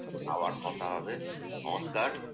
আবার কথা হবে। নমস্কার